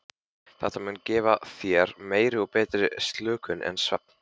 Þetta mun gefa þér meiri og betri slökun en svefn.